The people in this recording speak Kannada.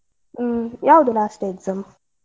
ಹ್ಮ್, ಯಾವ್ದು last exam?